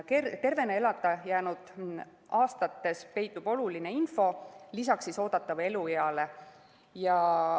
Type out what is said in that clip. Tervena elada jäänud aastates peitub oluline info lisaks oodatavale elueale.